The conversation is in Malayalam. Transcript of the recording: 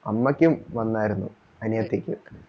അമ്മയ്ക്കും വന്നായിരുന്നു അനിയത്തിക്കും